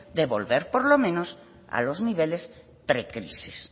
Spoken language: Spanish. de volver por lo menos a los niveles pre crisis